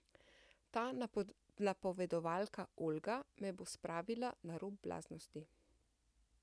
Ta napovedovalka Olga me bo spravila na rob blaznosti ...